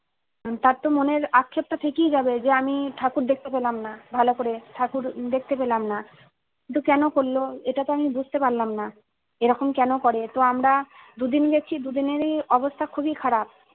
তার তো মনের আক্ষেপ টা থেকেই যাবে যে আমি ঠাকুর দেখতে পেলাম না ভালো করে ঠাকুর দেখতে পেলাম না কিন্তু কেনো করলো এটাতো আমি বুঝতে পারলানা এরকম কেন করে তো আমরা আমরা দুদিন গেছি দুদিনেরই অবস্থা খুবই খারাপ